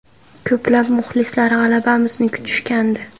Ko‘plab muxlislar g‘alabamizni kutishgandi.